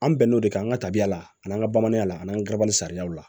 An bɛn n'o de ye an ka tabiya la ani an ka bamananya la an n'an gabaa sariyaw la